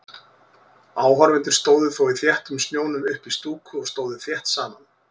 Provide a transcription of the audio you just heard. Áhorfendur stóðu þó í þéttum snjónum uppí stúku og stóðu þétt saman.